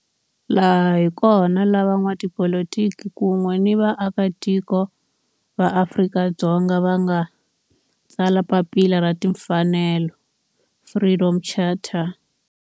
Laha hi kona la van'watipolitiki kun'we ni vaaka tiko va Afrika-Dzonga va nga tsala papila ra timfanelo, Freedom Charter.